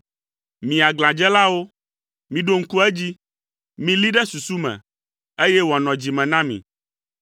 “Mi aglãdzelawo, miɖo ŋku edzi, milée ɖe susu me, eye wòanɔ dzi me na mi.